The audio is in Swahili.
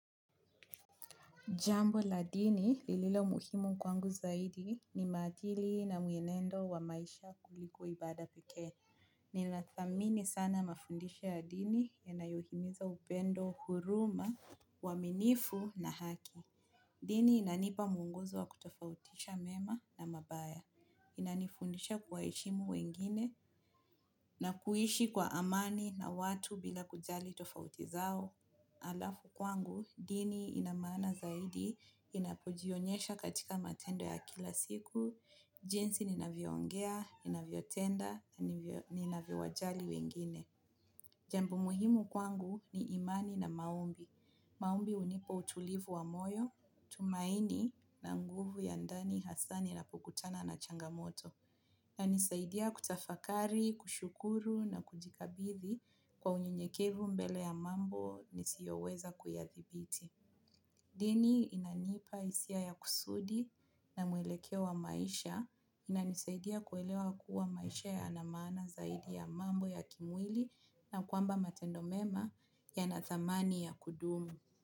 Jambo la dini lililo muhimu kwangu zaidi ni madili na mwenendo wa maisha kuliko ibada pekee. Ninathamini sana mafundisha ya ndini yanayohimiza upendo huruma, uaminifu na haki. Dini inanipa mwongozo wa kutofautisha mema na mabaya. Inanifundisha kuwa heshimu wengine na kuishi kwa amani na watu bila kujali tofautizao. Alafu kwangu, dini inamana zaidi, inapojionyesha katika matendo ya kila siku, jinsi inavyongea, inavilyotenda, inavyo wajali wengine. Jambo muhimu kwangu ni imani na maombi. Maombi hunipa utulivu wa moyo, tumaini na nguvu ya ndani hasani ninapokutana na changamoto. Inanisaidia kutafakari, kushukuru na kujikabithi kwa unyunyekevu mbele ya mambo nisioweza kuyadhibiti. Dini inanipa hisia ya kusudi na mwelekewa maisha. Na nisaidia kuelewa kuwa maisha yanamaana zaidi ya mambo ya kimwili na kwamba matendo mema ya na thamani ya kudumu.